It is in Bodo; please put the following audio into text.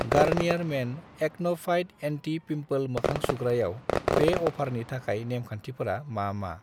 गारनियार मेन एक्न' फाइट एन्टि-पिमपोल मोखां सुग्रायाव बे अफारनि थाखाय नेम खान्थिफोरा मा मा?